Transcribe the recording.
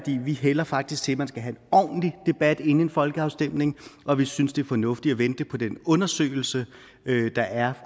vi hælder faktisk til at man skal have en ordentlig debat inden en folkeafstemning og vi synes det er fornuftigt at vente på den undersøgelse der er